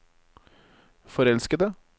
forelskede